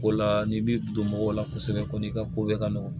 Ko la n'i b'i don mɔgɔw la kosɛbɛ kɔni i ka ko bɛɛ ka nɔgɔ